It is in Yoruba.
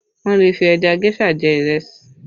Wọn lè fi ẹja géṣà jẹ ìrẹsì